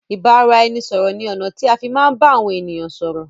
Ìbáraẹnisọ̀rọ̀ ní ọ̀nà tí a fi má ń bá àwọn ènìyàn sọ́rọ́